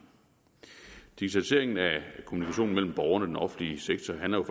digitaliseringen af kommunikationen mellem borgerne og den offentlige sektor handler